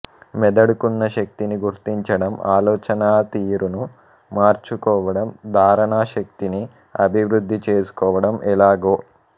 మెదడుకున్న శక్తిని గిర్తించడం ఆలోచనాతీరును మార్చుకోవడం ధారణాశక్తిని అభివృద్ధిచేసుకోవడం ఎలాగో